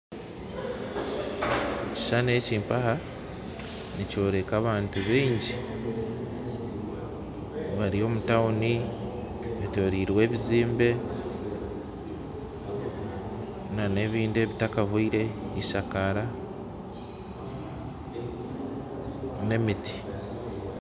Ekishuushani eki mpaha nikyoreka abantu baingi bari omu tauni betorirwe ebizimbe na n'ebindi ebitakahwire ishakara n'emiti